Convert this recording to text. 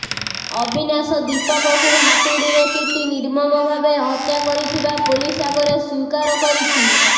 ଅବିନାଶ ଦୀପକକୁ ହାତୁଡ଼ିରେ ପିଟି ନିର୍ମମଭାବେ ହତ୍ୟା କରିଥିବା ପୋଲିସ ଆଗରେ ସ୍ବୀକାର କରିଛି